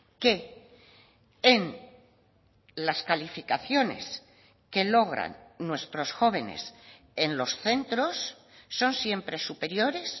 que en las calificaciones que logran nuestros jóvenes en los centros son siempre superiores